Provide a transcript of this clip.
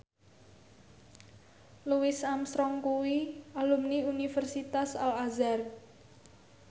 Louis Armstrong kuwi alumni Universitas Al Azhar